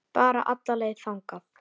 Bara alla leið þangað!